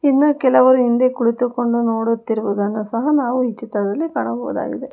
ಇನ್ನ ಕೆಲವರು ಹಿಂದೆ ಕುಳಿತುಕೊಂಡು ನೋಡುತ್ತಿರುವುದನ್ನು ಸಹ ನಾವು ಈ ಚಿತ್ರದಲ್ಲಿ ಕಾಣಬಹುದಾಗಿದೆ.